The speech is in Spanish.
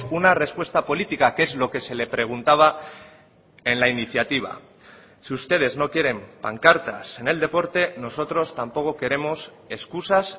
una respuesta política que es lo que se le preguntaba en la iniciativa si ustedes no quieren pancartas en el deporte nosotros tampoco queremos excusas